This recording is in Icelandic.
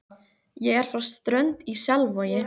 Ég er frá Strönd í Selvogi.